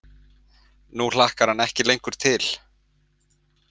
Nú hlakkar hann ekki lengur til.